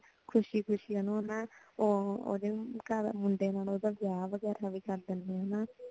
ਖੁਸ਼ੀ ਖੁਸ਼ੀ ਓਨੁ ਨਾ ਉਹ ਓਹਦੇ ਮੁੰਡੇ ਨਾਲ ਓਹਦਾ ਵਿਆਹ ਵਗੈਰਾ ਵੀ ਕਰ ਦੇਂਦੇ ਹੇਨਾ